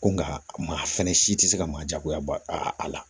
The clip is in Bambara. Ko nka maa fɛnɛ si tɛ se ka maa jagoya ba a a la